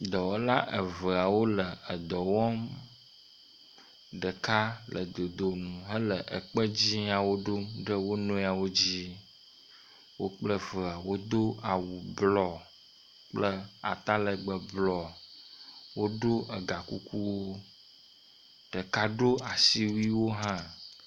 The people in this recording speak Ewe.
Dɔwɔla eveawo le edɔ wɔm. Ɖeka le dodonu hele ekpe dziawo ɖom ɖe wo nɔewo dzi. Wo kple evea woɖo awu blɔ kple atalegbe blɔ. Woɖo egakukuwo. Ɖeka ɖo asiwuiwo hã.